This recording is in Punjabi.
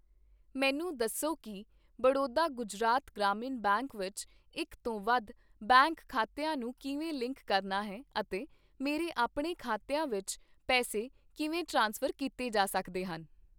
ਮੈਨੂੰ ਦੱਸੋ ਕੀ ਬੜੌਦਾ ਗੁਜਰਾਤ ਗ੍ਰਾਮੀਣ ਬੈਂਕ ਵਿੱਚ ਇੱਕ ਤੋਂ ਵੱਧ ਬੈਂਕ ਖਾਤਿਆਂ ਨੂੰ ਕਿਵੇਂ ਲਿੰਕ ਕਰਨਾ ਹੈ ਅਤੇ ਮੇਰੇ ਆਪਣੇ ਖਾਤਿਆਂ ਵਿੱਚ ਪੈਸੇ ਕਿਵੇਂ ਟ੍ਰਾਂਸਫਰ ਕੀਤੇ ਜਾ ਸਕਦੇ ਹਨ।